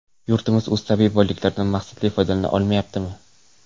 Yurtimiz o‘z tabiiy boyliklaridan maqsadli foydalana olmayaptimi?